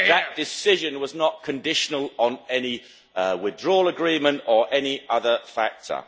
That decision was not conditional on any withdrawal agreement or any other factor.